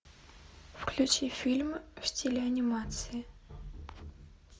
включи фильм в стиле анимации